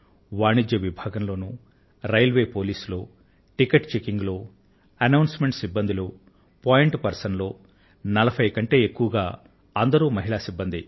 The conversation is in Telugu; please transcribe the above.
వాణిజ్య విభాగంలో రైల్వే పోలీస్ లో టికెట్ చెకింగ్ లో అనౌన్స్ మెంట్ సిబ్బంది లో పోయింట్ పర్సన్ లో నలభై కన్నా ఎక్కువగా అంతా మహిళా సిబ్బందే